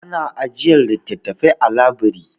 Ana ajiyar littattafai a labiri.